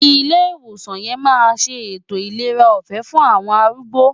Ilé ìwòsàn yẹn máa ṣe ètò ìlera ọ̀fẹ́ fún àwọn arúgbó.